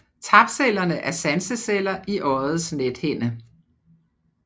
Tapcellerne er sanseceller i øjets nethinde